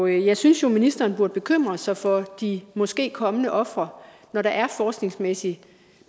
jeg synes jo at ministeren burde bekymre sig for de måske kommende ofre når der er forskningsmæssigt